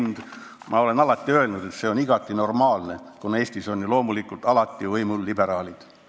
Ma olen alati öelnud, et see on igati normaalne, kuna Eestis on ju loomulikult alati võimul liberaalid.